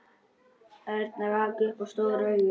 Örn rak upp stór augu.